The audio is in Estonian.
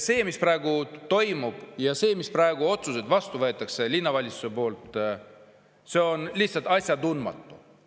See, mis praegu toimub, mis otsuseid praegu vastu linnavalitsuses vastu võetakse, on lihtsalt asjatundmatu.